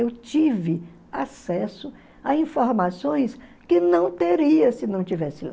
Eu tive acesso a informações que não teria se não estivesse lá.